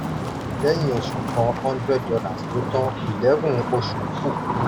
lẹ́yìn oṣù kan hundred dollars lo tan eleven oṣù kù.